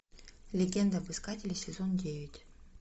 легенда об искателе сезон девять